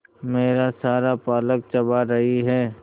मेरा सारा पालक चबा रही है